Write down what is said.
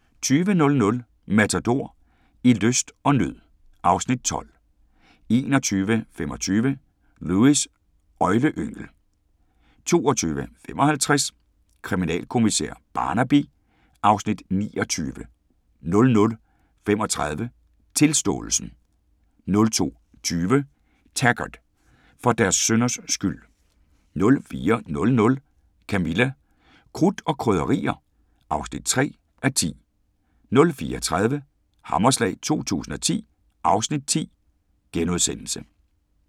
20:00: Matador – I lyst og nød (Afs. 12) 21:25: Lewis: Øgleyngel 22:55: Kriminalkommissær Barnaby (Afs. 29) 00:35: Tilståelsen 02:20: Taggart: For deres synders skyld 04:00: Camilla – Krudt og Krydderier (3:10) 04:30: Hammerslag 2010 (Afs. 10)*